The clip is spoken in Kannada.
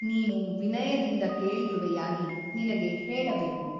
ನೀನು ವಿನಯದಿಂದ ಕೇಳಿರುವೆಯಾಗಿ ನಿನಗೆ ಹೇಳಬೇಕು.